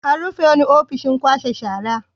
An rufe wani ofishin kwashe shara.